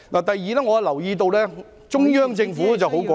第二，我留意到中央政府十分果斷......